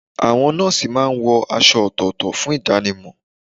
Àwọn nọ́ọ̀sì máa ń wọ aṣọ ọ̀tọ̀ọ̀tọ̀ fún ìdánimọ̀.